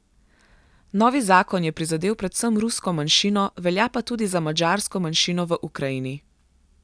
Novi zakon je prizadel predvsem rusko manjšino, velja pa tudi za madžarsko manjšino v Ukrajini.